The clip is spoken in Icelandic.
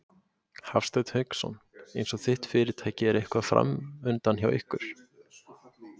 Hafsteinn Hauksson: Eins og þitt fyrirtæki er eitthvað framundan hjá ykkur?